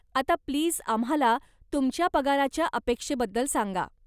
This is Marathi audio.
आता प्लीज आम्हाला तुमच्या पगाराच्या अपेक्षेबद्दल सांगा.